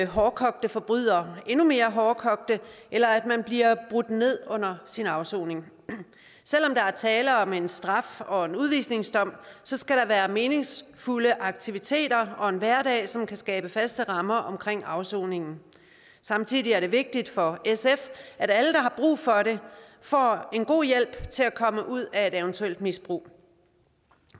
hårdkogte forbrydere endnu mere hårdkogte eller at man bliver brudt ned under sin afsoning selv om der er tale om en straf og en udvisningsdom skal der være meningsfulde aktiviteter og en hverdag som kan skabe faste rammer omkring afsoningen samtidig er det vigtigt for sf at alle der har brug for det får en god hjælp til at komme ud af et eventuelt misbrug